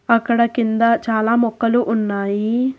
అక్కడ కింద చాలా మొక్కలు ఉన్నాయి.